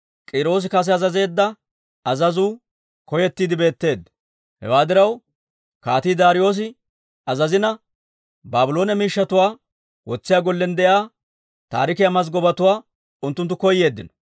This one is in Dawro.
Hewaa diraw, Kaatii Daariyoosi azazina, Baabloone miishshatuwaa wotsiyaa gollen de'iyaa taarikiyaa mazggabatuwaa unttunttu koyeeddino.